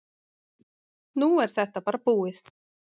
Nú er þetta bara búið.